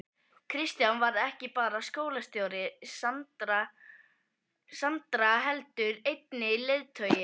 Kristján varð ekki bara skólastjóri Sandara heldur einnig leiðtogi.